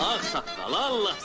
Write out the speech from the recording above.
Ağsaqqal, Allahsız.